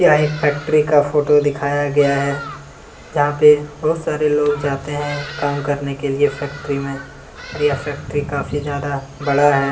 यह एक फैक्ट्री का फोटो दिखाया गया है जहां पे बहुत सारे लोग जाते हैं काम करने के लिए फैक्ट्री में और यह फैक्ट्री काफी ज्यादा बड़ा है |